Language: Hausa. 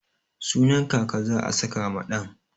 Sunan kaka za'a saka ma ɗan.